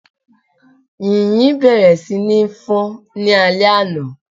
Yìnyín bẹ̀rẹ̀ sí ní fọ́n ní alé àna